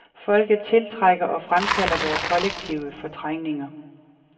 Folket tiltrækker og fremkalder vore kollektive fortrængninger.